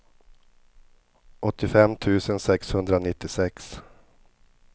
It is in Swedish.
åttiofem tusen sexhundranittiosex